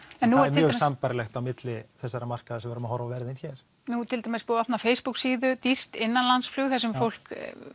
mjög sambærilegt á milli þessara marka sem við erum að horfa á verðin hér nú til dæmis er búið að opna Facebook síðu dýrt innanlandsflug þar sem fólk